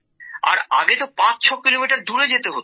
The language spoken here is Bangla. আর আগে তো ৫৬ কিলোমিটার দূরে যেতে হতো